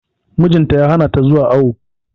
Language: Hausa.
Mijin ta ya hana ta zuwa awo.